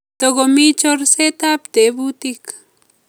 Tokomi chorset ab tebutik